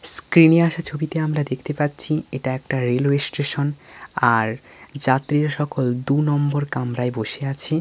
স্ক্রিনে আসা ছবিতে আমরা দেখতে পাচ্ছি এটা একটা রেলওয়ে স্টেশন । আর যাত্রীরা সকল দু নম্বর কামরায় বসে আছে ।